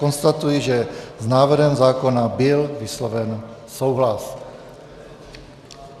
Konstatuji, že s návrhem zákona byl vysloven souhlas.